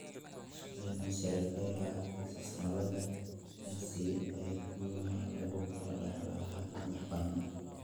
Spinocerebellar ataxia labaad (SCA2) waxa lagu kala dhaxlaa hab madax-bannaan.